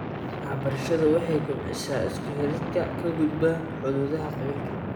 Waxbarashadu waxay kobcisaa isku xidhka ka gudba xuduudaha qabiilka.